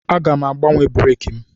Aga m agbanwe breeki m.